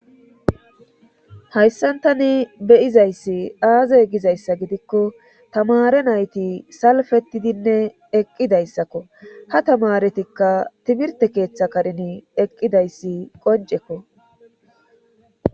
hayssantani beyizayssi aazey gizayssa gidikko tamare nayti salfettidinne eqqidayssakko ha tamaretikka timirte keeththa karin eqqidayssi qoncekko